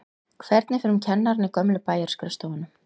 Og hvernig fer um kennarana í gömlu bæjarskrifstofunum?